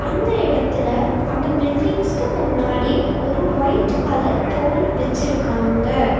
அந்த எடத்துல அந்த பில்டிங்க்ஸ்கு முன்னாடி ஒரு ஒயிட் கலர் போல் வெச்சிருக்காங்க.